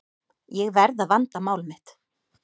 Ég verð að vanda mál mitt.